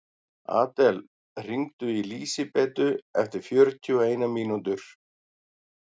Adel, hringdu í Lísibetu eftir fjörutíu og eina mínútur.